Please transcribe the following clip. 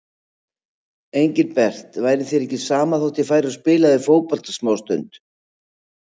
Engilbert, væri þér ekki sama þó ég færi og spilaði fótbolta smástund.